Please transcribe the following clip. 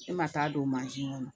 E ma taa don kɔnɔ